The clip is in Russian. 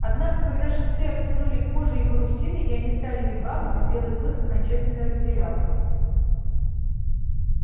однако когда шесты обтянули кожей и парусиной и они стали вигвамами белый клык окончательно растерялся